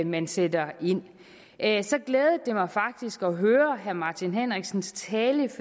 man sætter ind så glædede det mig faktisk at høre herre martin henriksens tale